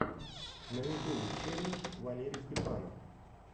на ютьюбе челлендж валерий степанов